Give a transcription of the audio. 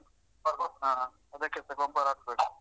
ಹ ಅದಕ್ಕೆಸ ಗೊಬ್ಬರ ಹಾಕ್ಬೇಕು